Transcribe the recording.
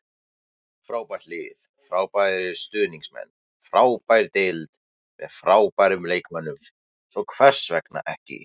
Frábært lið, frábærir stuðningsmenn, frábær deild með frábærum leikmönnum- svo hvers vegna ekki?